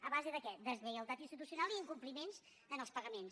a base de què deslleialtat institucional i incompliments en els pagaments